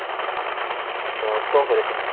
ତ କଣ କରିବେ ସେମାନେ?